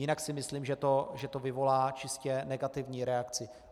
Jinak si myslím, že to vyvolá čistě negativní reakci.